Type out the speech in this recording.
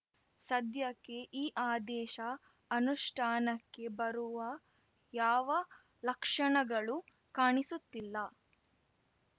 ಸದ್ಯಕ್ಕೆ ಈ ಆದೇಶ ಅನುಷ್ಠಾನಕ್ಕೆ ಬರುವ ಯಾವ ಲಕ್ಷಣಗಳು ಕಾಣಿಸುತ್ತಿಲ್ಲ